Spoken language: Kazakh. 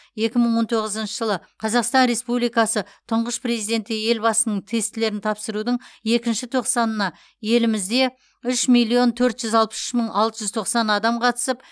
екі мың он тоғызыншы жылы қазақстан республикасы тұнғыш президенті елбасының тестілерін тапсырудың екінші тоқсанына елімізде үш миллион төрт жүз алпыс үш мың алты жүз тоқсан адам қатысып